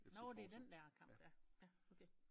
Nårh det den der kamp ja ja okay